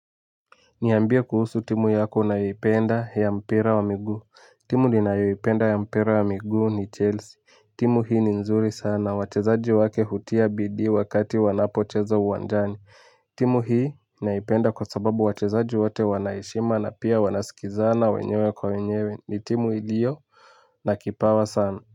Niambie kuhusu timu yako unayoipenda ya mpira wa migu. Timu ninahoipenda ya mpira wa miguu ni chelsea. Timu hii ni nzuri sana. Wachezaji wake hutia bidii wakati wanapocheza uwanjani. Timu hii naipenda kwa sababu wachezaji wote wana heshima na pia wanasikizana wenyewe kwa wenyewe ni timu iliyo na kipawa sana.